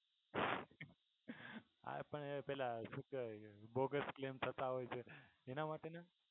હા પણ એ પેહલા શું કેહવાય બોગસ claim થતાં હોય છે એના માટેનો